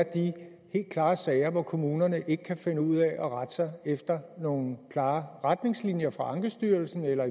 de helt klare sager hvor kommunerne ikke kan finde ud af at rette sig efter nogle klare retningslinjer fra ankestyrelsen eller